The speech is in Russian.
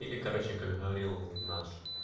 и короче как говорил наш